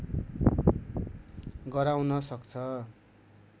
गराउन सक्छ